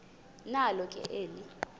nalo ke eli